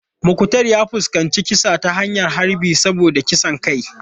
Muktar ya fuskanci kisa ta hanyar harbi saboda kisan kai.